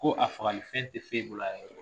Ko a fagalifɛn tɛ foyi bolo a yɛrɛ kɔ